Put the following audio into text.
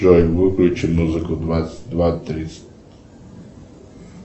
джой выключи музыку в двадцать два тридцать